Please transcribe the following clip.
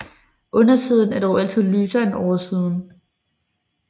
Undersiden er dog altid lysere end oversiden